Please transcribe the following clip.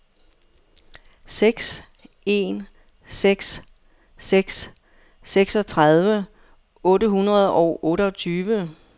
seks en seks seks seksogtredive otte hundrede og otteogtyve